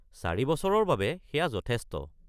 ৪ বছৰৰ বাবে সেয়া যথেষ্ট।